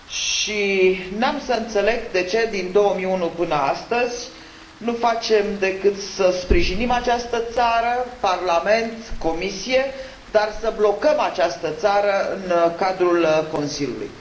Și n am să înțeleg de ce din 2011 până astăzi nu facem decât să sprijinim această țară în Parlament și Comisie, dar să blocăm această țară în cadrul Consiliului.